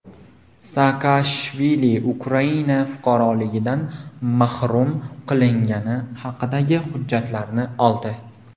Saakashvili Ukraina fuqaroligidan mahrum qilingani haqidagi hujjatlarni oldi.